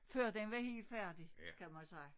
Før den var helt færdig kan man sige